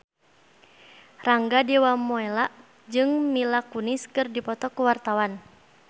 Rangga Dewamoela jeung Mila Kunis keur dipoto ku wartawan